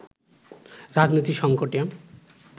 রাজনৈতিক সঙ্কটে